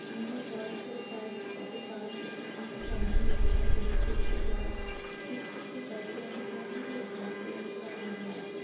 यहां बहुत सारे कार्स के ऑटो पार्ट्स रखे है कुछ सामान रखे है पेचकस रखे है पीछे एक व्हाइट कलर की कार है और एक ब्लैक कलर की कार नजर आ रही --